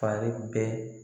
Fari bɛ